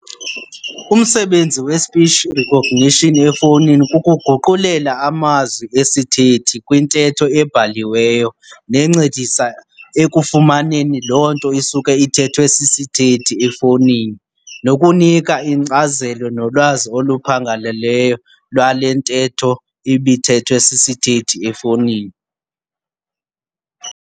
Umsebenzi we-speech recognition efowunini kukuguqulela amazwi esithethi kwintetho ebhaliweyo nencedisa ekufumaneni loo nto isuka ithethwe sisithethi efowunini, nokunika inkcazelo nolwazi oluphangaleleyo lwale ntetho ibithethwe sisithethi efowunini.